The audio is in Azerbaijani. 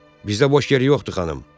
Bizdə boş yer yoxdur, xanım.